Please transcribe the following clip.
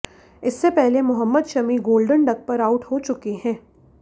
इससे पहले Mohammed Shami golden duck पर आउट हो चुके हैं